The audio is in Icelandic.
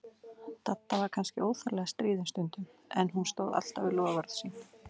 Dadda var kannski óþarflega stríðin stundum, en hún stóð alltaf við loforð sín.